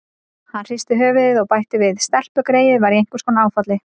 Hann hristi höfuðið og bætti við: Stelpugreyið var í einhvers konar áfalli.